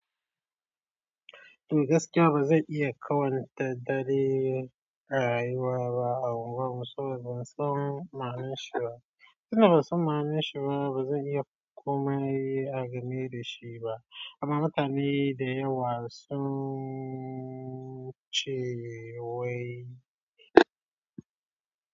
To gaskiya ba zai iya kawanta dare a yi wa ba a unguwar musu ba. Don sam ma'anar shi ba. Suna son manne shi ba, ba zai iya komai a game da shi ba. Amma mutane da yawa sun ce wai.